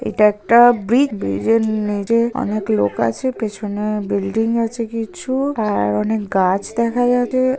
এটা একটা ব্রি-ইজ ব্রিজে নিজে অনেক লোক আছে পেছনে-এ বিল্ডিং আছে কিছু আর অনেক গাছ দেখা যাবে--